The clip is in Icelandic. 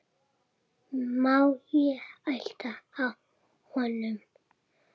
Má ég halda á honum?